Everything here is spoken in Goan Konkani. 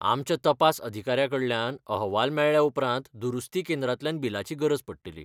आमच्या तपास अधिकाऱ्या कडल्यान अहवाल मेळ्ळ्या उपरांत दुरुस्ती केंद्रांतल्यान बिलाची गरज पडटली.